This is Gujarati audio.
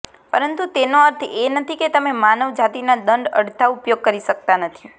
પરંતુ તેનો અર્થ એ નથી કે તમે માનવજાતિના દંડ અડધા ઉપયોગ કરી શકતા નથી